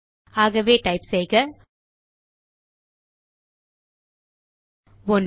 ஆகவே டைப் செய்யலாம் 1